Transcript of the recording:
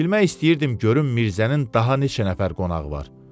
Bilmək istəyirdim görüm Mirzənin daha neçə nəfər qonağı var?